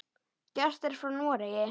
Gestir frá Noregi.